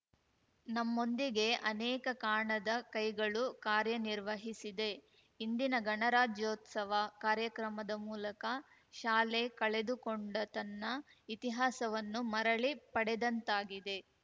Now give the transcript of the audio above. ನಮ್ಮೊಂದಿಗೆ ಅನೇಕ ಕಾಣದ ಕೈಗಳು ಕಾರ್ಯನಿರ್ವಹಿಸಿದೆ ಇಂದಿನ ಗಣರಾಜ್ಯೋತ್ಸವ ಕಾರ್ಯಕ್ರಮದ ಮೂಲಕ ಶಾಲೆ ಕಳೆದುಕೊಂಡ ತನ್ನ ಇತಿಹಾಸವನ್ನು ಮರಳಿ ಪಡೆದಂತಾಗಿದೆ